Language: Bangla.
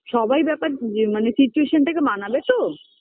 সবাই ব্যাপার এ মানে situation -টাকে মানাবে তো